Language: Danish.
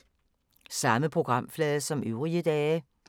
Samme programflade som øvrige dage